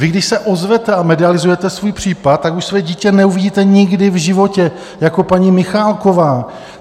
Vy když se ozvete a medializujete svůj případ, tak už své dítě neuvidíte nikdy v životě, jako paní Michálková .